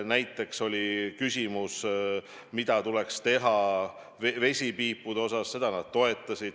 Veel oli küsimus, kas tuleks keelata vesipiipude kasutamine – seda nad toetasid.